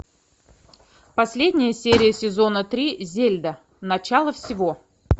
последняя серия сезона три зельда начало всего